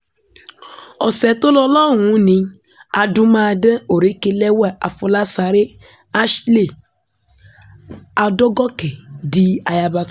ọ̀sẹ̀ tó lọ lọ́hùn-ún ni adúmáàdán òrékelẹ́wà afọlásáré ashley adọ́gọ́kẹ́ di ayaba tun